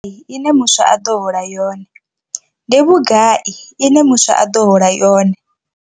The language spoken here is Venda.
ne muswa a ḓo hola yone. Ndi vhugai ine muswa a ḓo hola yone?